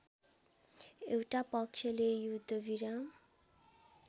एउटा पक्षले युद्धविराम